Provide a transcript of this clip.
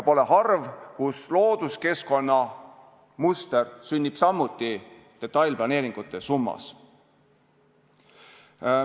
Pole harv, kui looduskeskkonna muster sünnib samuti detailplaneeringute summas.